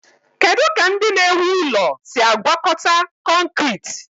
Kedu ka ndị na-ewu ụlọ si agwakọta kọnkriit?